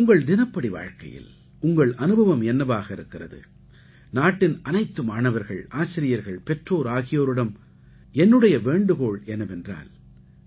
உங்கள் தினப்படி வாழ்க்கையில் உங்கள் அனுபவம் என்னவாக இருக்கிறது நாட்டின் அனைத்து மாணவர்கள் ஆசிரியர்கள் பெற்றோர் ஆகியோரிடம் என்னுடைய வேண்டுகோள் என்னவென்றால்